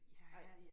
Nej